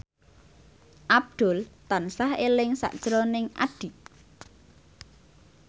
Abdul tansah eling sakjroning Addie